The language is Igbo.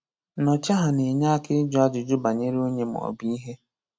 Nnọchiaha na-enye aka ịjụ ajụjụ banyere onye maọbụ ihe.